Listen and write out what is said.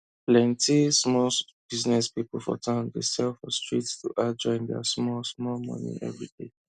plenty small business people for town dey sell for street to add join their small small money everyday